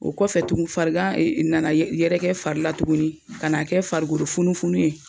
O kɔfɛ tugu farigan nana yɛrɛkɛ fari la tuguni kan'a kɛ farikolo funu funu ye